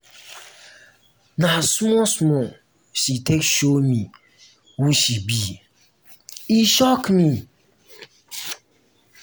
na small-small she take show me who she be e shock me.